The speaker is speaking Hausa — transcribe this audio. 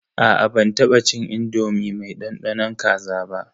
Aa ban taba cin indomi mai dandanon kaza ba.